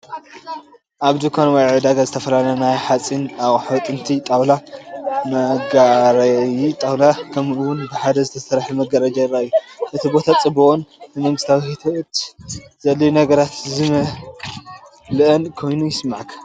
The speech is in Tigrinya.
ኣብ ድኳን ወይ ዕዳጋ ዝተፈላለዩ ናይ ሓጺን ኣቕሑ፡ ጥስቲ፡ ጣውላ (መጋገዪ ጣውላ)፡ ከምኡ’ውን ብሓጺን ዝተሰርሐ ምድጃ ይራኣዩ። እቲ ቦታ ጽዑቕን ንመዓልታዊ ህይወት ዘድልዩ ነገራት ዝመልአን ኮይኑ ይስምዓካ።